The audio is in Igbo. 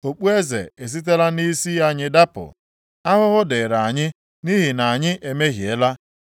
Okpueze esitela nʼisi anyị dapụ. Ahụhụ dịrị anyị nʼihi na anyị emehiela.